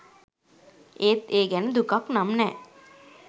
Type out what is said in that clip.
ඒත් ඒ ගැන දුකක් නම් නෑ